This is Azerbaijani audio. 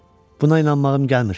Buna inanmağım gəlmir.